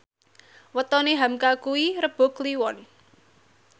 wetone hamka kuwi Rebo Kliwon